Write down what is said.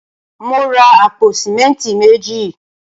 mọ rà àpò simẹnti meji